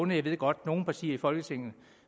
jeg ved godt at nogle partier i folketinget